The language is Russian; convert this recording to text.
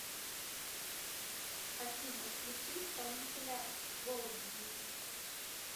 афина включи исполнителя голди